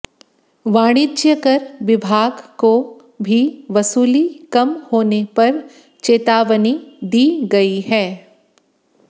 वाणिज्यकर विभाग को भी वसूली कम होने पर चेतावनी दी गई है